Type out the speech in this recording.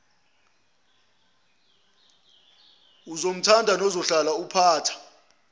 ozomthanda nozuhlala uphupha